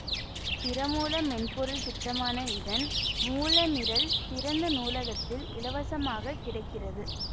திறமூல மென்பொருள் திட்டமான இதன் மூல நிரல் திறந்த நூலகத்தில் இலவசமாகக் கிடைக்கிறது